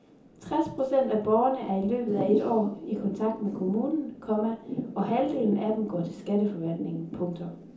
Tres procent af borgerne er i løbet af et år i kontakt med kommunen, komma og halvdelen af dem går til skatteforvaltningen. punktum